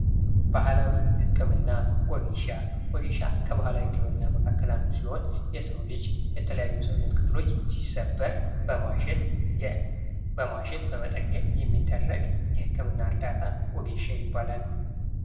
ባህላዊ ህክምና፤ ወጌሻ፦ ወዜሻ ከባህላዊ ህክምና መካከል አንዱ ሲሆን የሰው ልጂ የተለያዩ የሰውነት ክፍሎች ሲሰበር በማሸት በመጠገን የሚደረግ የህክምና እርዳታ ወጌሻ ይባላል።